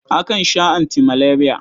Akan sha antimaleriya.